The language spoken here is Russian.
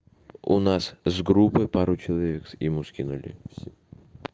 у нас с группой пару человек ему скинули